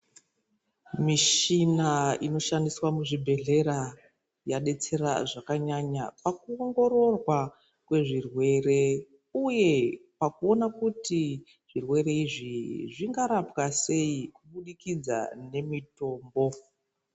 Mushina inoshandiswa muzvibhehleya yadetsera zvakanyanya pakuongororwa kwezvirwere uye pakuoonakuti zvirwere izvi zvingarapwa sei kubudikidza nemitombo .